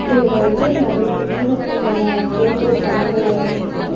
இதுல வந்து நெறையா வீரர்களோட போட்டோ படங்களல்லா இருக்கு.